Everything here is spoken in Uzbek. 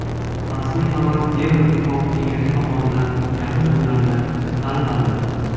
Rasmiy qaror Yevroittifoq kengashi tomonidan yaqin kunlarda chiqariladi.